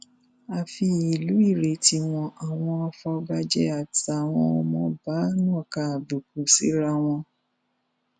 ààfin ìlú irèé tí wọn àwọn afọbajẹ àtàwọn ọmọọba nàka àbùkù síra wọn